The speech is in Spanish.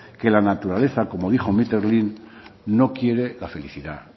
que la naturaleza como dijo no quiere la felicidad